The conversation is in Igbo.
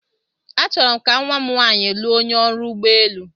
Achọrọ m ka nwa m nwanyị lụọ onye ọrụ ụgbọ elu.